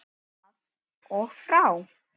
Af og frá.